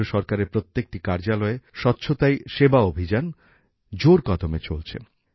কেন্দ্রীয় সরকারের প্রত্যেকটি কার্যালয়ে স্বচ্ছতাই সেবা অভিযান জোর কদমে চলছে